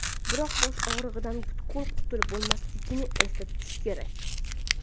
Biroq bosh og‘rig‘idan butkul qutulib bo‘lmasligini esda tutish kerak.